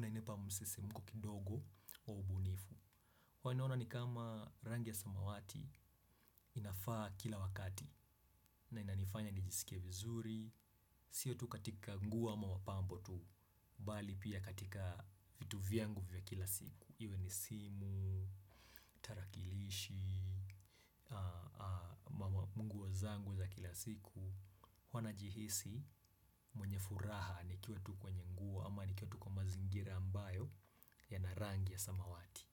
inanipa msisimuko kidogo wa ubunifu. Huwa naona ni kama rangi ya samawati inafaa kila wakati na inanifanya nijisikie vizuri. Sio tu katika nguo ama mapambo tu, bali pia katika vitu vyangu vya kila siku. Iwe ni simu, tarakilishi, manguo zangu za kila siku. Huwa najihisi mwenye furaha nikiwa tu kwenye nguo ama nikiwa tu kwa mazingira ambayo yanarangi ya samawati.